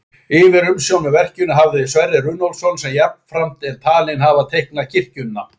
Yfirumsjón með verkinu hafði Sverrir Runólfsson sem jafnframt er talinn hafa teiknað kirkjuna.